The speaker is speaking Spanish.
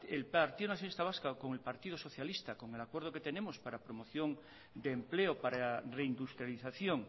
el partido nacionalista vasco con el partido socialista con el acuerdo que tenemos para promoción de empleo para reindustrialización